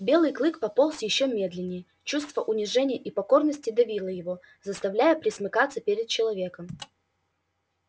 белый клык пополз ещё медленнее чувство унижения и покорности давило его заставляя пресмыкаться перед человеком